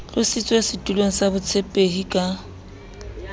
tlositswe setulong sa botshepehi ka